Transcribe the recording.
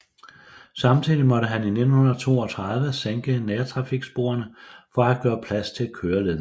Samtidig måtte man i 1932 sænke nærtrafiksporene for at gøre plads til køreledninger